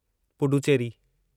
Puducherry